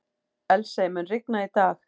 Elsie, mun rigna í dag?